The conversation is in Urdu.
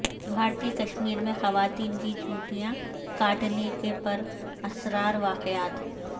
بھارتی کشمیر میں خواتین کی چوٹیاں کاٹنے کے پر اسرار واقعات